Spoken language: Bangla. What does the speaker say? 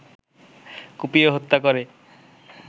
কুপিয়ে হত্যা করে